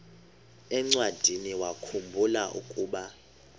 encwadiniwakhu mbula ukuba